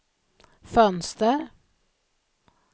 fönster